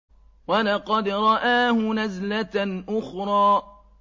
وَلَقَدْ رَآهُ نَزْلَةً أُخْرَىٰ